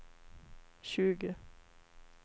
tjugo